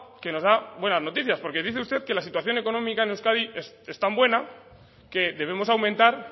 que nos da buenas noticias porque dice usted que la situación económica en euskadi es tan buena que debemos aumentar